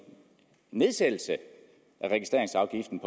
nedsættelse af registreringsafgiften